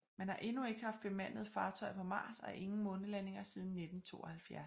Man har endnu ikke haft bemandede fartøjer på Mars og ingen månelandinger siden 1972